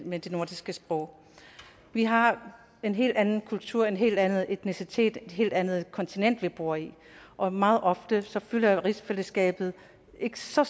med de nordiske sprog vi har en helt anden kultur en helt anden etnicitet og et helt andet kontinent vi bor i og meget ofte fylder rigsfællesskabet ikke så